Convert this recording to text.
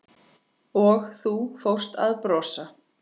Og þú fórst að brosa.